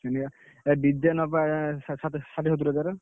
ନା ନା ଚ ହବ ଏଥର।